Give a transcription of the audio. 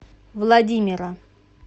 владимира